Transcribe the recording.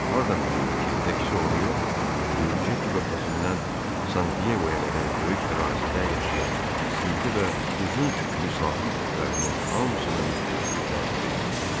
Hardan bilirdi ki, təkcə onu yox, Puje körfəzindən San Diegoya qədər böyük ərazidə yaşayan, güclü və uzun tüklü sahil itlərinin hamısına mütəhbiş bir təhlükə gözləyir.